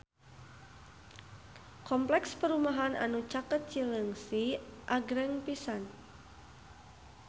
Kompleks perumahan anu caket Cileungsi agreng pisan